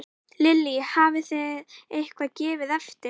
Lillý: Hafið þið eitthvað gefið eftir?